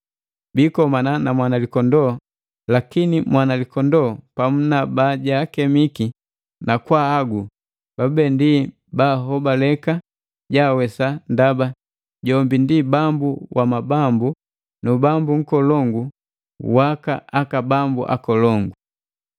Biikomana na Mwanalikondoo lakini Mwanalikondoo pamu na bala bajaakemiki na kwaahagu babube ndi bahobaleka jaawesa ndaba jombi ndi Bambu wa mabambu nu Bambu nkolongu waka bambu akolongu.”